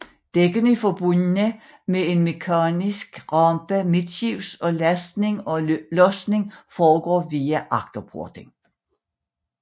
Dækkene er forbundet med en mekanisk rampe midtskibs og lastning og losning foregår via agterporten